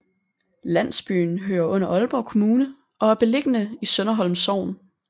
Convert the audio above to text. Landsbyen hører under Aalborg Kommune og er beliggende i Sønderholm Sogn